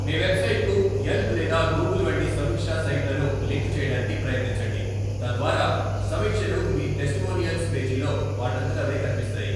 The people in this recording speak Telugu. మీ వెబ్సైట్కు యెల్ప్ లేదా గూగుల్ వంటి సమీక్షా సైట్లను లింక్ చేయడానికి ప్రయత్నించండి, తద్వారా సమీక్షలు మీ టెస్టిమోనియల్స్ పేజీలో వాటంతట అవే కనిపిస్తాయి.